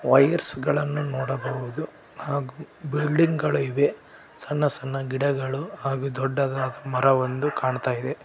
Wires ಗಳನ್ನು ನೋಡಬಹುದು ಹಾಗು ಬಿಲ್ಡಿಂಗ್ ಗಳು ಇವೆ ಸಣ್ಣ ಸಣ್ಣ ಗಿಡಗಳು ಹಾಗು ದೊಡ್ಡದಾದ ಮರವಂದು ಕಾಣ್ತಾ ಇದೆ.